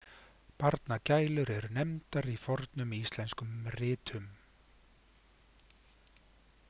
„Barngælur“ eru nefndar í fornum íslenskum ritum.